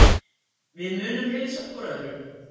Við munum heilsa hvor öðrum.